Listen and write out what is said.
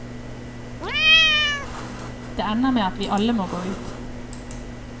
Det ender med at vi alle må gå ut.